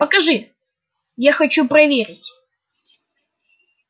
покажи я хочу проверить